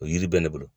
O yiri bɛ ne bolo